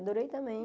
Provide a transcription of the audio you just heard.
Adorei também.